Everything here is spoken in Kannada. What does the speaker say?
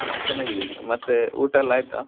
ನಾನ್ ಚನಾಗಿದ್ದೇನೆ ಮತ್ತೆ ಊಟಾ ಎಲ್ಲಾ ಆಯಿತ?